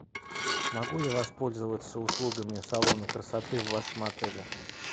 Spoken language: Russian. могу я воспользоваться услугами салона красоты в вашем отеле